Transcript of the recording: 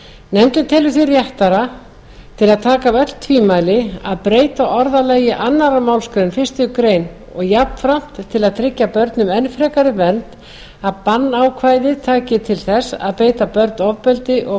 nefndin telur því réttara til að taka af öll tvímæli að breyta orðalagi annarri málsgrein fyrstu grein og jafnframt til að tryggja börnum enn frekari vernd að bannákvæðið taki til þess að beita börn ofbeldi og